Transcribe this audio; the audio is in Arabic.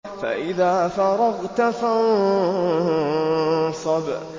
فَإِذَا فَرَغْتَ فَانصَبْ